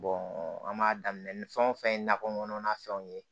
an b'a daminɛ ni fɛn o fɛn ye nakɔ kɔnɔna fɛnw ye